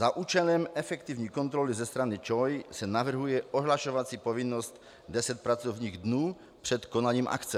Za účelem efektivní kontroly ze strany ČOI se navrhuje ohlašovací povinnost 10 pracovních dnů před konáním akce.